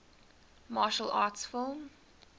martial arts film